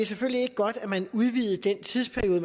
selvfølgelig ikke godt at man udvidede den tidsperiode